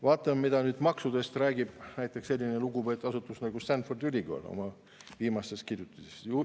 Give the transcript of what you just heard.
Vaatame nüüd, mida räägib maksudest selline lugupeetud asutus nagu Stanfordi ülikool oma viimases kirjutises.